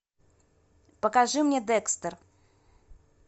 покажи мне декстер